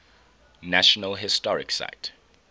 national historic site